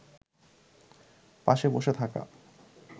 পাশে বসে থাকা